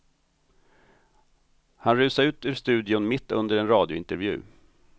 Han rusade ut ur studion mitt under en radiointervju.